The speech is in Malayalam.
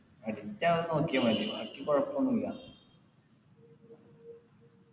addict ആകാതെ നോക്കിയാ മതി ബാക്കി കൊഴപ്പൊന്നുല്ല